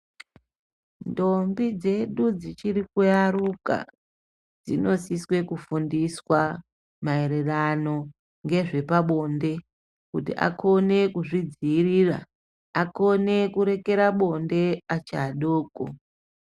Ntombi dzedu dzichirikuyaruka, dzinosiswe kufundiswa mayererano ngezvepabonde kuti akhone kuzvidzivirira. Akhone kurekera bonde achi adoko.